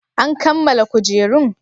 An kammala kujerun?